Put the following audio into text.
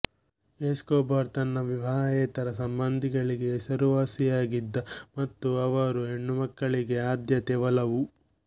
Escobar ತನ್ನ ವಿವಾಹೇತರ ಸಂಬಂಧಗಳಿಗೆ ಹೆಸರುವಾಸಿಯಾಗ್ಗಿದ ಮತ್ತು ಅವರು ಹೆಣ್ಣುಮಕ್ಕಳಿಗೆ ಆದ್ಯತೆ ಒಲವು